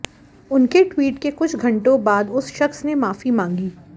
उनके ट्वीट के कुछ घंटों बाद उस शख्स ने माफी मांगी